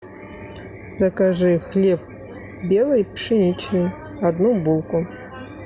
закажи хлеб белый пшеничный одну булку